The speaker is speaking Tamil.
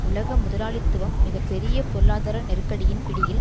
உலக முதலாளித்துவம் மிக பெரிய பொருளாதார நெருக்கடியின் பிடியில்